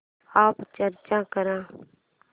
app search कर